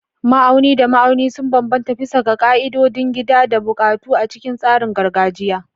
Ma'auni da ma'auni sun bambanta bisa ga ƙa'idodin gida da buƙatu a cikin tsarin gargajiya.